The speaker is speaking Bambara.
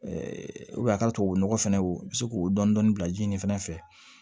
a ka tubabu nɔgɔ fɛnɛ o be se k'o dɔɔnin dɔɔnin bila ji nin fɛnɛ fɛ